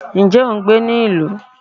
nje o n gbé ni ilu?